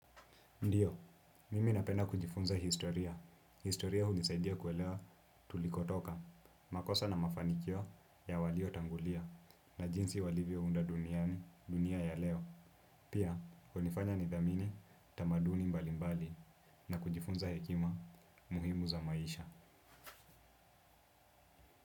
Ndio, mimi napenda kujifunza historia. Historia hunisaidia kuelewa tulikotoka. Makosa na mafanikio ya walio tangulia na jinsi walivyo unda duniani dunia ya leo. Pia, hunifanya ni dhamini tamaduni mbali mbali na kujifunza hekima muhimu za maisha.